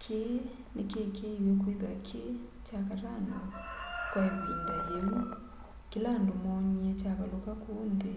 kĩĩ nĩkĩĩkĩĩwe kwĩthĩwa kĩ kya katano kwa ĩvinda yĩũ kĩla andũ moonĩe kyavalũka kũũ nthĩ